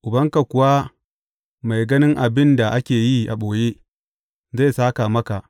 Ubanka kuwa mai ganin abin da ake yi a ɓoye, zai sāka maka.